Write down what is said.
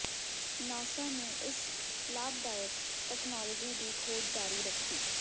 NASA ਨੇ ਇਸ ਲਾਭਦਾਇਕ ਤਕਨਾਲੋਜੀ ਦੀ ਖੋਜ ਜਾਰੀ ਰੱਖੀ